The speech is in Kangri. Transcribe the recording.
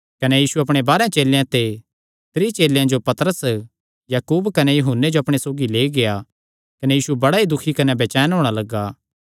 कने सैह़ पतरसे कने याकूबे कने यूहन्ने जो अपणे सौगी लेई गेआ कने बड़ा ई दुखी कने बेचैन होणा लग्गा